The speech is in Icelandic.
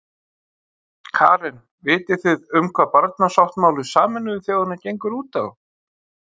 Karen: Vitið þið um hvað barnasáttmáli Sameinuðu þjóðanna gengur út á?